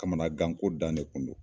Kamagan ko dan de kun do.